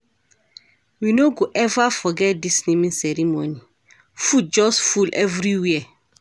We no go eva forget dis naming ceremony, food just full everywhere.